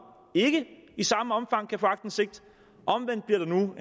ikke i samme omfang kan få aktindsigt omvendt bliver der nu